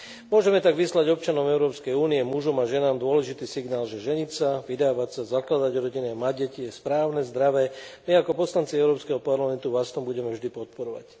Môžeme tak vyslať občanom Európskej únie mužom a ženám dôležitý signál, že ženiť sa, vydávať sa, zakladať rodiny a mať deti je správne, zdravé, a my ako poslanci Európskeho parlamentu vás v tom budeme vždy podporovať.